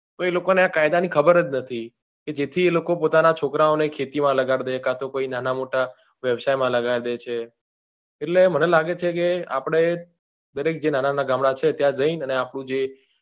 તો એ લોકો ને આ કાયદા ની ખબર જ નથી કે જેથ્હી એ લોકો એમના છોકરા ને ખેતી માં લગાડી દે કાતો કોઈ નાના મોટા વ્યવસાય માં લગાડી દે છે એટલે મને લાગે છે કે આપડે દરેક જે નાના નાના ગામડા છે ત્યાં જી ને આપડું જે